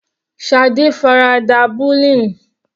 Shade farada bullying.